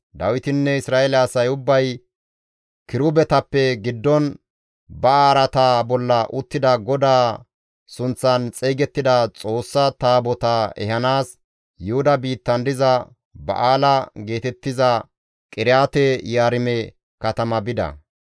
Dawitinne Isra7eele asay ubbay kirubetappe giddon ba araata bolla uttida GODAA sunththan xeygettida Xoossa Taabotaa ehanaas Yuhuda biittan diza Ba7aala geetettiza Qiriyaate-Yi7aarime katama bida.